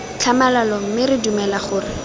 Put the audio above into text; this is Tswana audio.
tlhamalalo mme re dumela gore